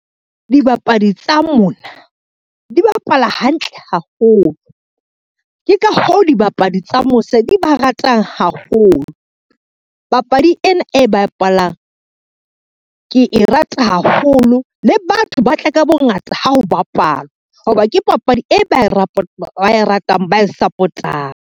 Dibapadi tsa mona, di bapala hantle haholo, ke ka hoo dibapadi tsa mose di ba ratang haholo. Papadi ena e bapalang ke e rata haholo le batho ba tle ka bongata ha ho bapalwa, ho ba ke papadi e ba e ratang, ba e support-ang.